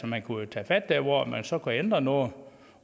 man kunne jo tage fat der hvor man så kunne ændre noget